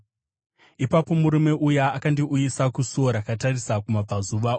Ipapo murume uya akandiuyisa kusuo rakatarisa kumabvazuva,